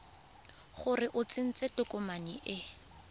gore o tsentse tokomane e